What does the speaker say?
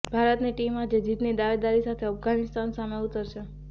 ભારતની ટીમ આજે જીતની દાવેદારી સાથે અફઘાનિસ્તાન સામે ઉતરશે